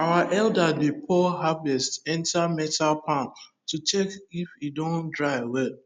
our elders dey pour harvest enter metal pan to check if e don dry well